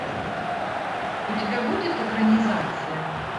у тебя будет экранизация